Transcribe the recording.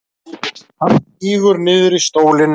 Hann sígur niður í stólinn.